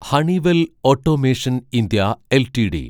Honeywell automation India LTD